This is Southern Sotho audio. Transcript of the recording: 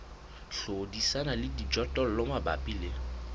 hlodisana le dijothollo mabapi le